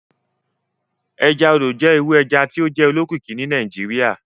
Ẹja odò jẹ iru ẹja ti o jẹ olókìkí ni Nigeria.